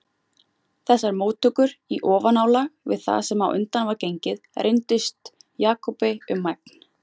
Þessar móttökur í ofanálag við það sem á undan var gengið reyndust Jakobi um megn.